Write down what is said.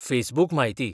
फेसबूकम्हायती